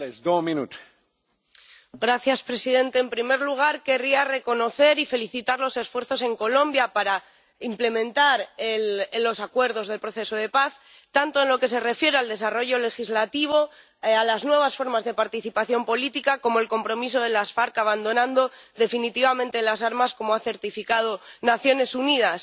Señor presidente, en primer lugar, querría reconocer y felicitar los esfuerzos en Colombia para implementar los acuerdos del proceso de paz, tanto en lo que se refiere al desarrollo legislativo, a las nuevas formas de participación política, como al compromiso de las FARC abandonando definitivamente las armas, como han certificado las Naciones Unidas.